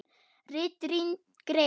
RITRÝND GREIN